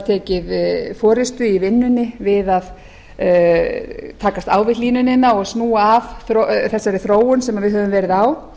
tekið forustu í vinnunni við að takast á við hlýnunina og snúa af þessari þróun sem við höfum verið á